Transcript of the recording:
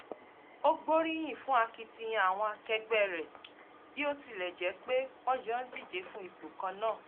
ó gbóríyìn fún akitiyan àwọn akẹgbẹ́ rẹ̀ bí ó tilẹ̀ jẹ́ pe wọn jọ ń díje fún ipò kan náà